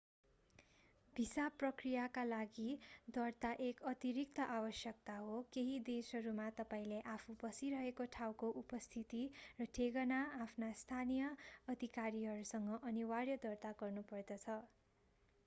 visa प्रक्रियाका लागि दर्ता एक अतिरिक्त आवश्यकता हो केहि देशहरूमा तपाईंले आफू बसिरहेको ठाउँको उपस्थिति र ठेगाना आफ्ना स्थानीय अधिकारीहरूसँग अनिवार्य दर्ता गर्नुपर्दछ